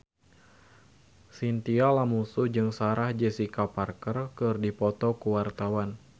Chintya Lamusu jeung Sarah Jessica Parker keur dipoto ku wartawan